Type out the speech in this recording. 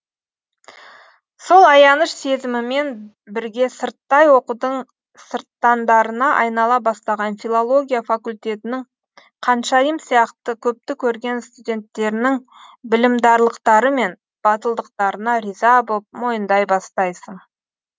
сол аяныш сезімімен бірге сырттай оқудың сырттандарына айнала бастаған филология факультетінің қаншайым сияқты көпті көрген студенттерінің білімдарлықтары мен батылдықтарына риза боп мойындай бастайсың